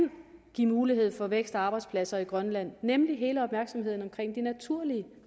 give mulighed for vækst og arbejdspladser i grønland nemlig hele opmærksomheden omkring de naturlige